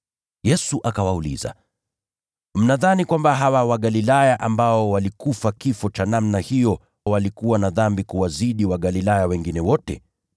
Yesu akawauliza, “Mnadhani kwamba hawa Wagalilaya ambao walikufa kifo cha namna hiyo walikuwa na dhambi kuwazidi Wagalilaya wengine wote?